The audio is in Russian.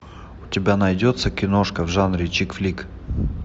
у тебя найдется киношка в жанре чик флик